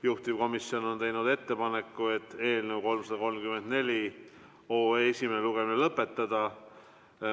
Juhtivkomisjon on teinud ettepaneku eelnõu 334 esimene lugemine lõpetada.